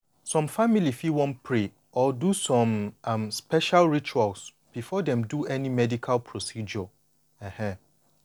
some family fit want pray or do some um special rituals before dem do any medical medical procedure. um